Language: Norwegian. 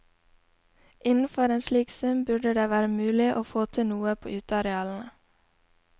Innenfor en slik sum burde det være mulig å få til noe på utearealene.